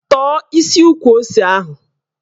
Tọ̀ọ́ isi ukwu ose ahụ!